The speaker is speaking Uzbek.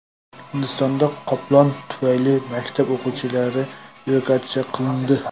Hindistonda qoplon tufayli maktab o‘quvchilari evakuatsiya qilindi.